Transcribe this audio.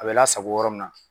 A be lasako yɔrɔ min na